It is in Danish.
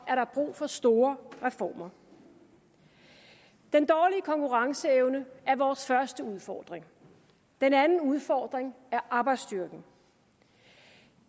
er der brug for store reformer den dårlige konkurrenceevne er vores første udfordring den anden udfordring er arbejdsstyrken